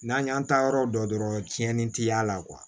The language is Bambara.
N'an y'an taa yɔrɔ dɔn dɔrɔn cɛnni tɛ y'a la